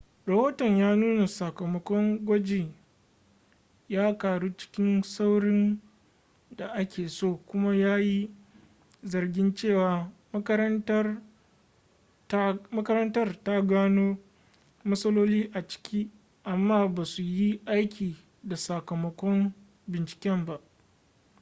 rahoton ya nuna sakamakon gwajin ya karu cikin saurin da ake so kuma ya yi zargin cewa makarantar ta gano matsaloli a ciki amma ba su yi aiki da sakamakon binciken ba